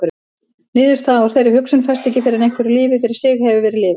Niðurstaða úr þeirri hugsun fæst ekki fyrr en hverju lífi fyrir sig hefur verið lifað.